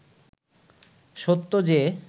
সত্য যে